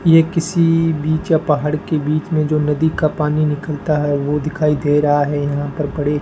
ये किसी बीच या पहाड़ के बीच में जो नदी का पानी निकलता है वो दिखाई दे रहा है यहां पर पड़े --